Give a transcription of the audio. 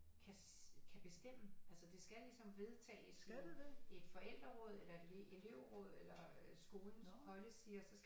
Kan bestemme altså det skal ligesom vedtages i et forældreråd eller et elevråd eller skolens policy